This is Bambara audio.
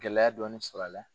Gɛlɛya dɔɔnin sɔrɔ a la.